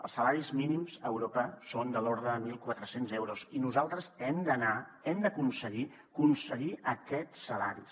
els salaris mínims a europa són de l’ordre de mil quatre cents euros i nosaltres hem d’anar hem d’aconseguir aquests salaris